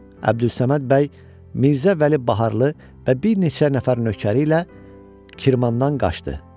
Əbdülsəməd bəy Mirzə Vəli Baharlı və bir neçə nəfər nökəri ilə Kirmandan qaçdı.